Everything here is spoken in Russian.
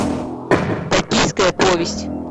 токийская повесть